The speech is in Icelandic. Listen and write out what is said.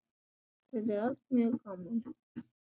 Þetta er allt mjög gaman.